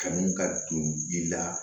Kanu ka don i la